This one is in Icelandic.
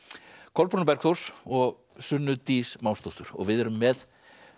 Kolbrúnu Bergþórs og Sunnu Dís og við erum með